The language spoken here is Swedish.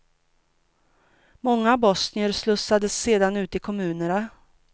Många bosnier slussades sedan ut i kommunerna.